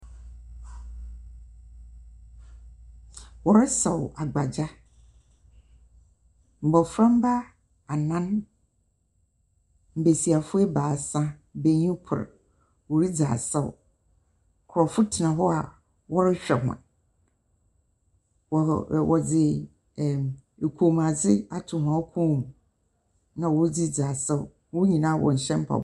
Wɔresaw agbagya. Mbɔnframba anan, mbesiafo ebaasa, benyin kor wɔredzi asaw. Nkurɔfo tsena hɔ a wɔrehwɛ hɔn. Wɔhɔ wɔdze ɛɛm kɔmmuadze ato hɔn kɔn mu, na wɔdze ridzi asaw. Hɔn nyinaa wɔnhyɛ mpabo .